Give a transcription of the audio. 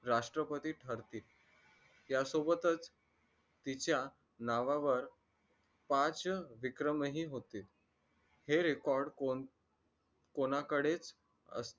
राष्ट्रपती ठरतील त्यासोबतच तिच्या नावावर पाच विक्रमही होतील हे record कोणाकडेच